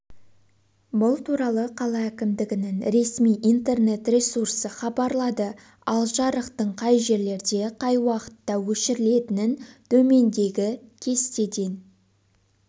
бұл туралы қала әкімдігінің ресми интернет-ресурсы хабарлады ал жарықтың қай жерлерде қай уақытта өшірілетінін төмендегі кестеден